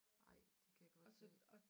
Ej det kan jeg godt se